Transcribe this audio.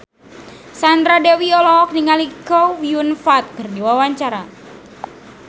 Sandra Dewi olohok ningali Chow Yun Fat keur diwawancara